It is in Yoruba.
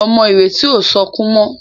Ọmọ Ireti o sọkún mo.